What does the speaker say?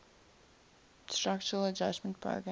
structural adjustment program